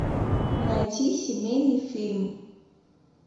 найти семейный фильм